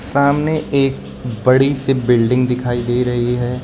सामने एक बड़ी से बिल्डिंग दिखाई दे रही है।